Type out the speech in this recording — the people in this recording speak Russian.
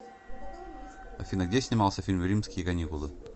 афина где снимался фильм римские каникулы